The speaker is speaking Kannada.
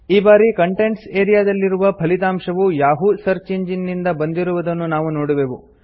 ಈ ಬಾರಿ ಕಂಟೆಂಟ್ಸ್ ಆರಿಯಾ ದಲ್ಲಿರುವ ಫಲಿತಾಂಶವು ಯಹೂ ಸರ್ಚ್ ಇಂಜಿನ್ ನಿಂದ ಬಂದಿರುವುದನ್ನು ನಾವು ನೋಡುವೆವು